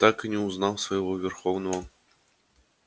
так и не узнав своего верховного